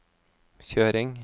kjøring